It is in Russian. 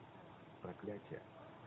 проклятие